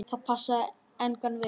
Það passaði engan veginn.